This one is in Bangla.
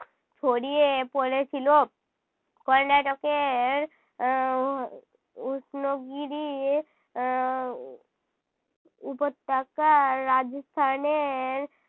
ছড়িয়ে পড়েছিল। কর্ণাটকের আহ উষ্ণ গিরি আহ উপত্যাকার রাজস্থানের